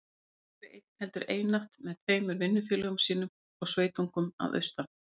Aldrei einn, heldur einatt með tveimur vinnufélögum sínum og sveitungum að austan.